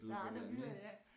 Der er andre byer ja